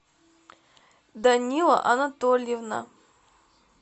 данила анатольевна